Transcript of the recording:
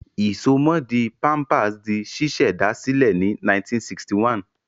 Ìsomọ́ọ̀dí Pampers di ṣíṣẹ̀dá sílẹ̀ ní 1961.